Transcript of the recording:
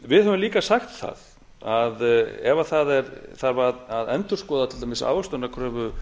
við höfum líka sagt það að ef það þarf að endurskoða til dæmis ávöxtunarkröfu